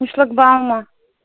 и шлагбаума